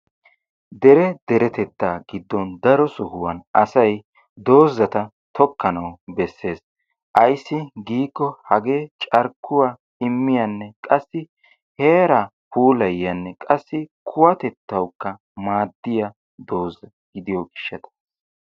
Dere deretettaa giddon daro sohuwan asay doozata tokkanawu beessees. Ayssi giikko carkkuwaa immiyaanne qassi heeraa puulayyiyanne qassi kuwatettawukka maaddiya dooza gidiyo gishshata.